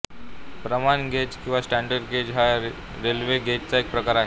प्रमाण गेज किंवा standard gauge हा रेल्वे गेजचा एक प्रकार आहे